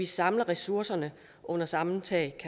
samler ressourcerne under samme tag